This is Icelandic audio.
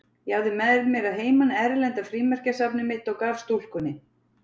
Ég hafði með mér að heiman erlenda frímerkjasafnið mitt og gaf stúlkunni.